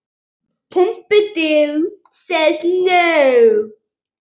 Úr því þurfi að bæta.